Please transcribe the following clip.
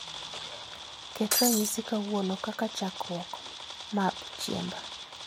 Ket ranyisi kawuono kaka chakrwok marb chiemba